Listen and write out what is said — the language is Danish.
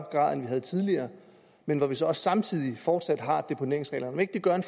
grad end vi havde tidligere men hvor vi så også samtidig fortsat har deponeringsreglerne gør det